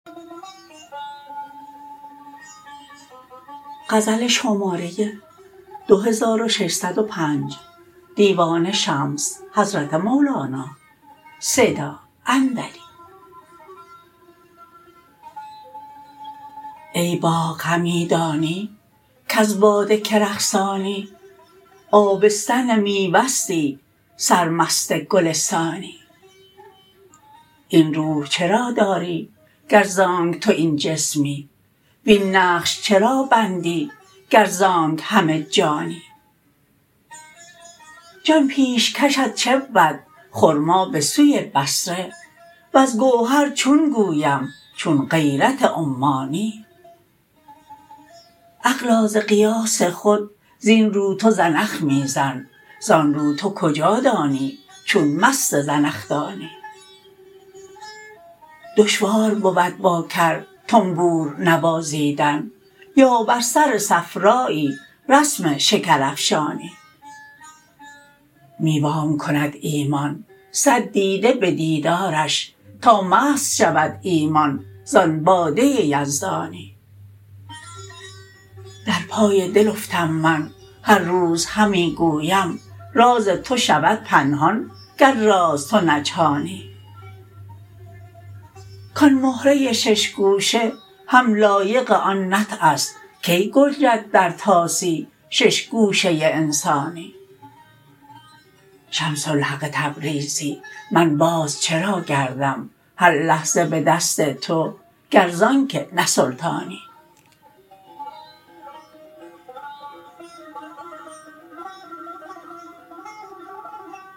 ای باغ همی دانی کز باد کی رقصانی آبستن میوه ستی سرمست گلستانی این روح چرا داری گر ز آنک تو این جسمی وین نقش چرا بندی گر ز آنک همه جانی جان پیشکشت چه بود خرما به سوی بصره وز گوهر چون گویم چون غیرت عمانی عقلا ز قیاس خود زین رو تو زنخ می زن زان رو تو کجا دانی چون مست زنخدانی دشوار بود با کر طنبور نوازیدن یا بر سر صفرایی رسم شکرافشانی می وام کند ایمان صد دیده به دیدارش تا مست شود ایمان زان باده یزدانی در پای دل افتم من هر روز همی گویم راز تو شود پنهان گر راز تو نجهانی کان مهره شش گوشه هم لایق آن نطع است کی گنجد در طاسی شش گوشه انسانی شمس الحق تبریزی من باز چرا گردم هر لحظه به دست تو گر ز آنک نه سلطانی